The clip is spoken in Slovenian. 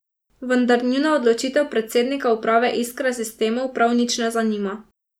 Vendar njuna odločitev predsednika uprave Iskre Sistemov prav nič ne zanima.